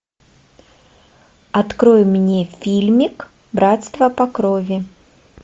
открой мне фильмик братство по крови